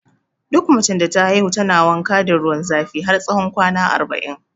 Duk macen da ta haihu tana wanka da ruwan zafi har tsawon kwana arba'in